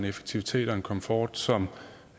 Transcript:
effektivitet og komfort som